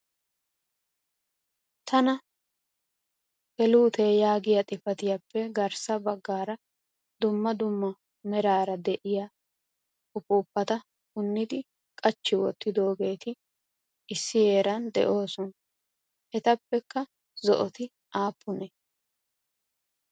Tana geluutee yaaggiya xifaatiyappe garssa baggaara dumma dumma meraara de'iya upuupata punidi qachchi wottidoogeeti issi heeran de'oosona. Etappekka zo''oti aappunee?